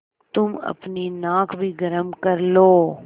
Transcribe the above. तुम अपनी नाक भी गरम कर लो